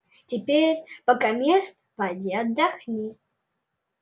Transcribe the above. теперь покамест поди отдохни